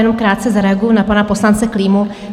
Jenom krátce zareaguji na pana poslance Klímu.